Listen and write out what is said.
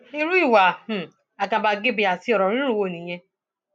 irú ìwà um àgàbàgebè àti ọrọ rírùn wo nìyẹn